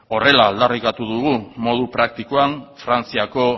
horrela aldarrikatu dugu modu praktikoan frantziako